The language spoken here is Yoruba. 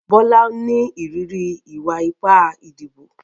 Bola ń ní ìrírí ìwà ipá ìdìbò.